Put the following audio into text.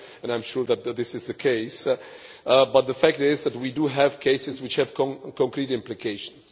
I am sure that this is the case, but the fact is that we do have cases which have concrete implications.